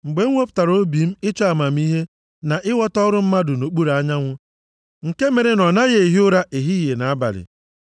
Mgbe m wepụtara obi m ịchọ amamihe na ịghọta ọrụ mmadụ nʼokpuru anyanwụ nke mere na ọ naghị ehi ụra ehihie na abalị,